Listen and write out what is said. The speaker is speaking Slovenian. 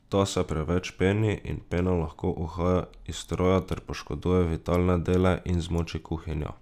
Ta se preveč peni in pena lahko uhaja iz stroja ter poškoduje vitalne dele in zmoči kuhinjo.